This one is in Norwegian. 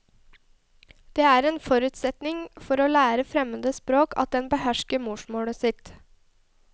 Det er en forutsetning for å lære fremmede språk at en behersker morsmålet sitt.